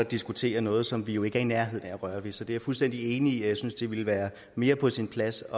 diskuterer noget som vi jo ikke er i nærheden af at røre ved så det er jeg fuldstændig enig i jeg synes det ville være mere på sin plads